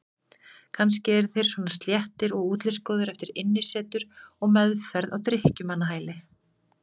Kannski eru þeir svona sléttir og útlitsgóðir eftir innisetur og meðferð á drykkjumannahæli.